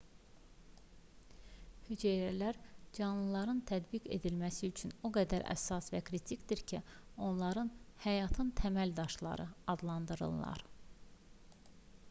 hüceyrələr canlıların tədqiq edilməsi üçün o qədər əsas və kritikdir ki onları həyatın təməl daşları adlandırırlar